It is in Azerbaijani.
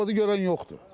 Peşoqodu görən yoxdur.